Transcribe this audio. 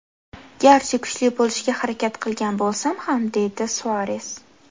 Garchi kuchli bo‘lishga harakat qilgan bo‘lsam ham”, deydi Suares.